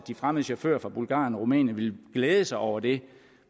de fremmede chauffører fra bulgarien og rumænien vil glæde sig over det